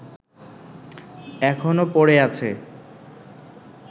এখনো পড়ে আছে